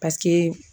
Paseke